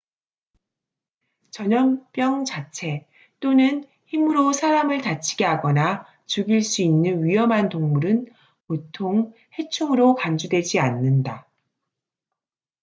전염병 자체 또는 힘으로 사람을 다치게 하거나 죽일 수 있는 위험한 동물은 보통 해충으로 간주되지 않는다